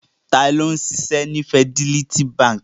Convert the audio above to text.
Ta ni ó ń ṣiṣẹ́ ní Fidelity Bank?